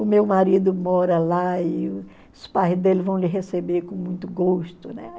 O meu marido mora lá e os pais dele vão lhe receber com muito gosto, né?